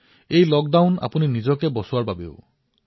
এই লক্ডাউন আপুনি নিজে ৰক্ষা পৰাৰ বাবেহে